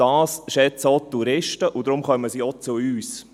Das schätzen auch die Touristen, und deshalb kommen sie auch zu uns.